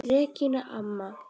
Regína amma.